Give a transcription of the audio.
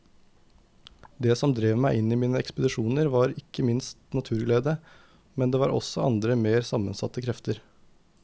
Det som drev meg i mine ekspedisjoner var ikke minst naturglede, men det var også andre mer sammensatte krefter.